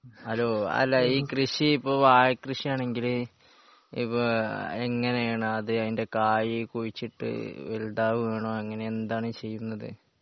Hello അല്ല ഈ കൃഷി ഇപ്പോ വാഴകൃഷി ആണെങ്കില് ഇപ്പോ എങ്ങനെയാണ് അത് അതിൻ്റെ കായ് കുഴിച്ചിട്ട് വലുതാവുകയാണോ അങ്ങനെ എന്താണ് ചെയ്യുന്നത്?